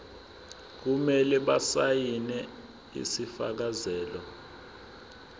kumele basayine isifakazelo